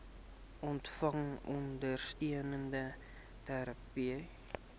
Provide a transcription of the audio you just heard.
ontvang ondersteunende terapie